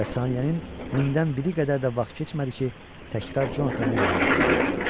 Bəs saniyənin mindən biri qədər də vaxt keçmədi ki, təkrar Conatanın yanında dayanmışdı.